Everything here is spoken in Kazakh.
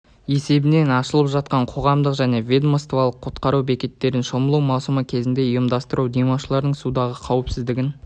есебінен ашылып жатқан қоғамдық және ведомствалық құтқару бекеттерін шомылу маусымы кезінде ұйымдастыру демалушылардың судағы қауіпсіздігін